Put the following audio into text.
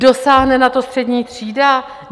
Dosáhne na to střední třída?